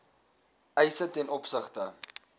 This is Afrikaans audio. eise ten opsigte